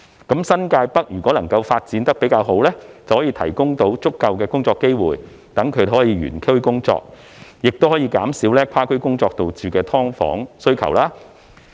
如果新界北發展得好，便可提供足夠工作機會，讓居民可以原區工作，減少跨區工作所導致的"劏房"需求。